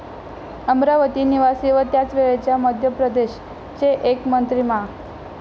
अमरावती निवासी व त्यावेळच्या मध्यप्रदेश चे एक मंत्री मा.